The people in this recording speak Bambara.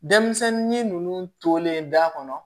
Denmisɛnnin ninnu tolen da kɔnɔ